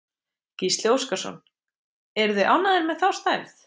Gísli Óskarsson: Eruð þið ánægðir með þá stærð?